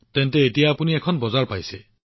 তেন্তে এতিয়া আপুনি বজাৰখনো পাইছে